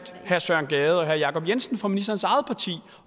herre søren gade og herre jacob jensen fra ministerens eget parti